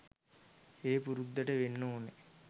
ඒ පුරුද්දට වෙන්න ඕනේ.